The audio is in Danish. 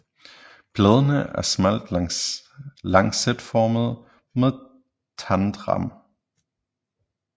Bladene er smalt lancetformede med tandet rand